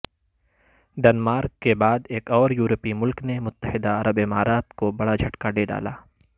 Denmark کے بعد ایک اوریورپی ملک نے متحدہ عرب امارات کوبڑاجھٹکادے ڈالا